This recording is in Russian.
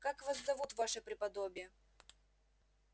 как вас зовут ваше преподобие